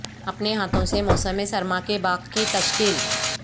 اپنے ہاتھوں سے موسم سرما کے باغ کی تشکیل